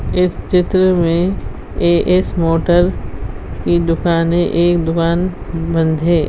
इस चित्र में ए.एस. मोटर की दुकान है एक दुकान बंद है।